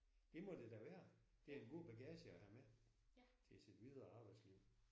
Det må det da være det er en god bagage at have med til sit videre arbejdsliv